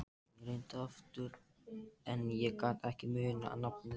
Addi, slökktu á niðurteljaranum.